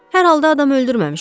Hər halda adam öldürməmişəm.